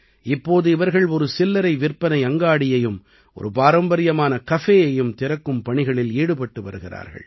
இப்போது இவர்கள் ஒரு சில்லறை விற்பனை அங்காடியையும் ஒரு பாரம்பரியமான கஃபேயையும் திறக்கும் பணிகளில் ஈடுபட்டு வருகிறார்கள்